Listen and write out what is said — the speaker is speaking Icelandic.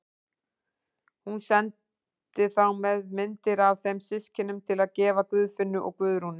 Hún sendi þá með myndir af þeim systkinum til að gefa Guðfinnu og Guðrúnu.